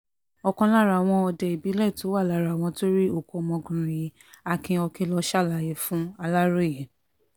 ọ̀kan lára àwọn òde ìbílẹ̀ tó wà lára àwọn tó rí òkú ọmọkùnrin yìí akin okilọ ṣàlàyé fún aláròye